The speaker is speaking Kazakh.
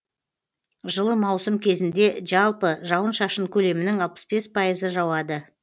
жылы маусым кезінде жалпы жауын шашын көлемінің алпыс бес пайызы жауады